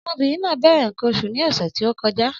Ọmọbìnrin náà bẹ̀rẹ̀ nǹkan oṣù ní ọ̀sẹ̀ tí ó kọjá.